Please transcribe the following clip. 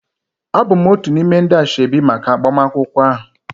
Abụ m otu n'ime ndi asoebi maka agbamakwụkwọ ahụ